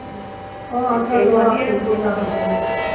ਆ